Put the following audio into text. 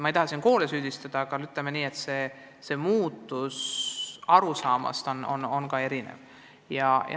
Ma ei taha üldiselt koole süüdistada, aga tuleb öelda, et arusaamine muudatustest on ka erinev.